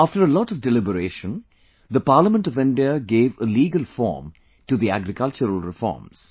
After a lot of deliberation, the Parliament of India gave a legal formto the agricultural reforms